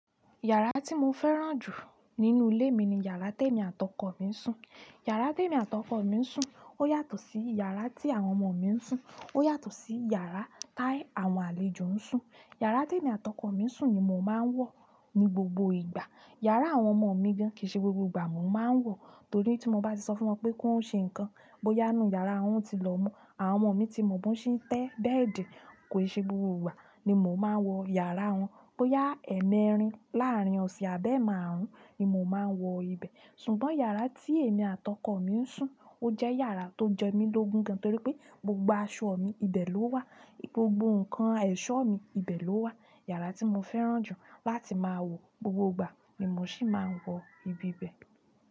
Yàrá tí mo fẹ́ràn jù nínú ilé mi ni iyàrá tí èmi àti ọkọ mi ń sùn. Iyàrá tí èmi àti ọkọ mi ń sùn ó yàtọ̀ sí iyàrá tí àwọn ọmọ mi ń sùn, ó yàtọ̀ sí iyàrá táwọn àlejò ń sùn. Iyàrá tí èmi àti ọkọ mi ń sùn ni mò ń máa wọ̀ ní gbogbo ìgbà. Iyàrá àwọn ọmọ mi gan kì í ṣe gbogbo ìgbà mò ń máa wọ̀ torí tí mo bá sì sọ fún wọn pé kí wọ́n ṣe nǹkan, bóyá inú yàrá wọn tilomo, àwọn ọmọ mi tí mò ń bon ń ṣe tẹ́ bẹ́ẹ̀dì, kò ì ṣe gbogbo ìgbà ni mò ń máa wọ iyàrá wọn. Bóyá ẹ̀ẹ̀mẹrin láàrín ọ̀sẹ̀ àdẹ́ márùn-ún ni mò ń máa wọ ibẹ̀. Ṣùgbọ́n iyàrá tí èmi àti ọkọ mi ń sùn, ó jẹ́ iyàrá tó jẹ́ mi lógun gan torí pé gbogbo aṣọ mi ibẹ̀ ló wà, gbogbo ǹkan ẹ̀ṣọ́ mi ibẹ̀ ló wà. Iyàrá tí mo fẹ́ràn jù láti máa wọ gbogbo ìgbà ni mò ń sì máa ń wọ ibi bẹ̀.